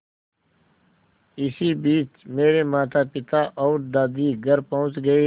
इसी बीच मेरे मातापिता और दादी घर पहुँच गए